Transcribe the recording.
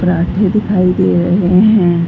परांठे दिखाई दे रहे हैं।